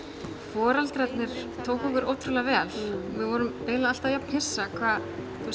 foreldrarnir tóku okkur ótrúlega vel við vorum eiginlega alltaf jafn hissa hvað